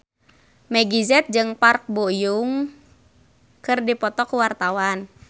Meggie Z jeung Park Bo Yung keur dipoto ku wartawan